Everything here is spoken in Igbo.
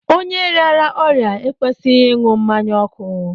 Onye rịara ọrịa ekwesịghị ịṅụ mmanya ọkụ